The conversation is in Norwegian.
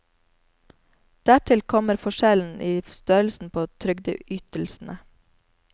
Dertil kommer forskjellen i størrelsen på trygdeytelsene.